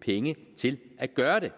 penge til at gøre det